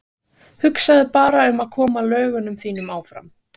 Hugsaðu bara um að koma lögunum þínum áfram.